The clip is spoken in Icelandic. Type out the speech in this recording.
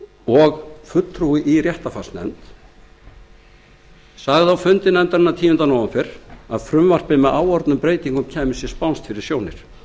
og fulltrúi í réttarfarsnefnd tók fram á fundi viðskiptanefndar tíunda nóvember að frumvarpið með áorðnum breytingum kæmi sér spánskt fyrir sjónir